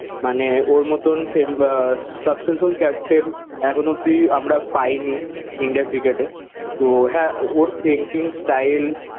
মানে ওর মতন ফেম আহ successful captain এখন অব্দি আমরা পাইনি ইন্ডিয়া ক্রিকেটে। তো হ্যাঁ ওর thinking style